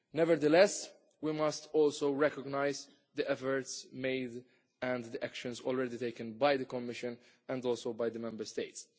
Nevertheless, we must also recognise the efforts made and actions already taken by the Commission and also by the Member States.